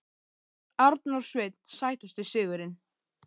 Arnór Sveinn Sætasti sigurinn?